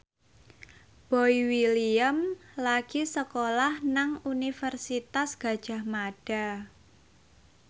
Boy William lagi sekolah nang Universitas Gadjah Mada